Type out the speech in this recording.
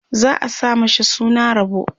za'a sa mashi suna Rabo